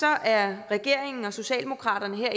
er regeringen og socialdemokraterne her